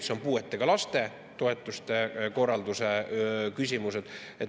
Need on puuetega laste toetuste korralduse küsimused.